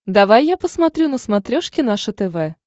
давай я посмотрю на смотрешке наше тв